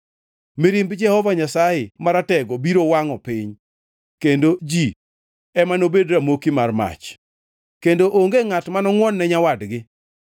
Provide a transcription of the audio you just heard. Mirimb Jehova Nyasaye Maratego biro wangʼo piny, kendo ji ema nobed ramoki mar mach, kendo onge ngʼat mano ngʼwon-ne nyawadgi.